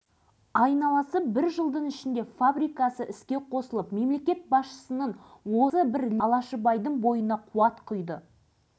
сонда елбасы нұрсұлтан назарбаев білікті басшы алашыбайдың жетістігіне қатты риза болып тұрып бұл біздің экономикалық саясатымыздың оңды нәтижесі